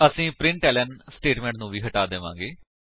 ਇਸਦੇ ਲਈ test student class ਖੋਲੋ ਜੋ ਕਿ ਅਸੀਂ ਪਹਿਲਾਂ ਹੀ ਬਣਾਇਆ ਹੈ